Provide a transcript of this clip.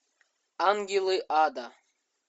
ангелы ада